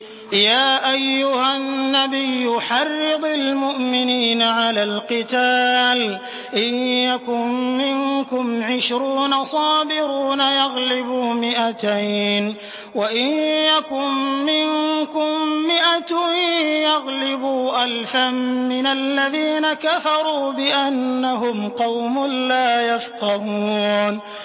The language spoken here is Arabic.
يَا أَيُّهَا النَّبِيُّ حَرِّضِ الْمُؤْمِنِينَ عَلَى الْقِتَالِ ۚ إِن يَكُن مِّنكُمْ عِشْرُونَ صَابِرُونَ يَغْلِبُوا مِائَتَيْنِ ۚ وَإِن يَكُن مِّنكُم مِّائَةٌ يَغْلِبُوا أَلْفًا مِّنَ الَّذِينَ كَفَرُوا بِأَنَّهُمْ قَوْمٌ لَّا يَفْقَهُونَ